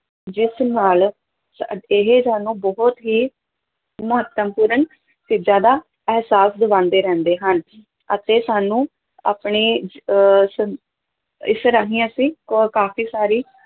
ਜਿਸ ਨਾਲ ਸ ਇਹ ਸਾਨੂੰ ਬਹੁਤ ਹੀ ਮਹੱਤਵਪੂਰਨ ਚੀਜ਼ਾਂ ਦਾ ਅਹਿਸਾਸ ਦਿਵਾਉਂਦੇ ਰਹਿੰਦੇ ਹਨ ਅਤੇ ਸਾਨੂੰ ਆਪਣੇ ਅਹ ਸ ਇਸ ਰਾਹੀਂ ਅਸੀਂ ਕ ਕਾਫ਼ੀ ਸਾਰੀ